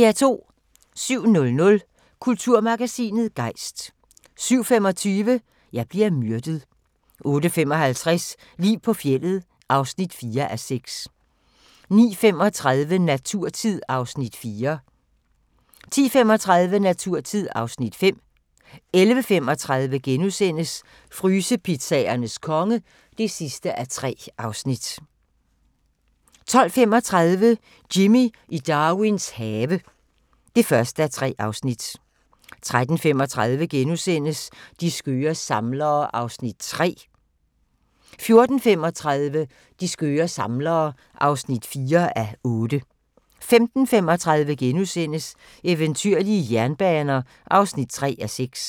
07:00: Kulturmagasinet Gejst 07:25: Jeg bliver myrdet 08:55: Liv på fjeldet (4:6) 09:35: Naturtid (Afs. 4) 10:35: Naturtid (Afs. 5) 11:35: Frysepizzaernes konge (3:3)* 12:35: Jimmy i Darwins have (1:3) 13:35: De skøre samlere (3:8)* 14:35: De skøre samlere (4:8) 15:35: Eventyrlige jernbaner (3:6)*